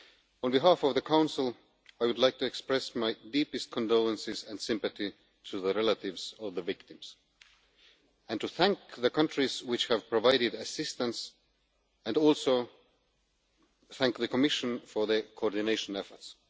On behalf of the Council, I would like to express my deepest condolences and sympathy to the relatives of the victims, to thank the countries which have provided assistance and also to thank the Commission for its coordination efforts.